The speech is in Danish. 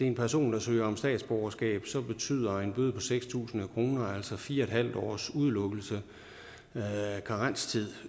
en person der søger om statsborgerskab betyder en bøde på seks tusind kroner altså fire en halv års udelukkelse eller karenstid